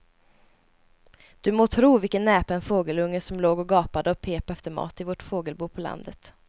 Du må tro vilken näpen fågelunge som låg och gapade och pep efter mat i vårt fågelbo på landet.